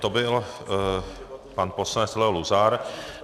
To byl pan poslanec Leo Luzar.